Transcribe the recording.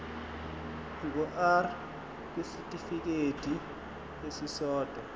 ngur kwisitifikedi esisodwa